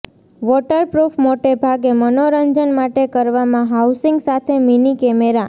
waterproof મોટે ભાગે મનોરંજન માટે કરવામાં હાઉસિંગ સાથે મીની કેમેરા